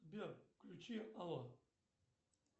сбер включи алло